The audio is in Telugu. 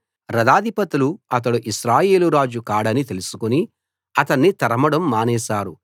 రథాధిపతులు అతడు ఇశ్రాయేలు రాజు కాడని తెలుసుకుని అతన్ని తరమడం మానేశారు